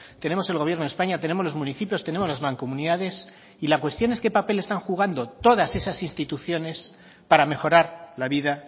tenemos el gobierno de españa tenemos los municipios tenemos las mancomunidades y la cuestión es qué papel están jugando todas esas instituciones para mejorar la vida